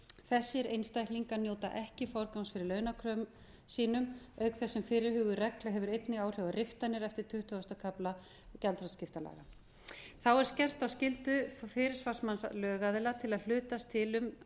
þessir einstaklingar njóta ekki forgangs fyrir launakröfum sínum auk þess sem fyrirhuguð regla hefur einnig áhrif á riftanir eftir tuttugasta kafla gjaldþrotaskiptalaga þá er gert að skyldu fyrirsvarsmanns lögaðila til að hlutast til um